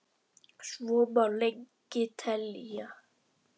Svo má lengi telja.